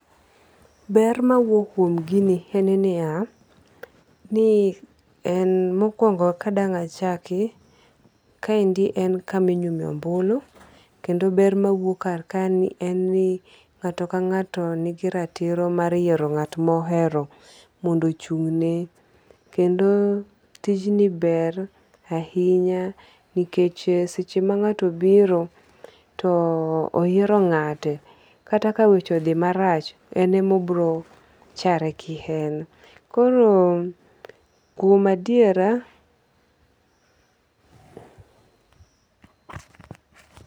Ber mawuok kuom gini en niya, ni en mokuongo' kadang' achaki kaendi en kama inyumoe ombulu kendo ber ma wuok kar kaendi en ni nga'to kanga'to nigiratiro mar yiero nga't ma ohero mondo ochungne, kendo tijni ber ahinya nikech seche ma ngato obiro too oyiero nga'te kata ka weche othi marach en ama obiro chare kien , koro kuom adiera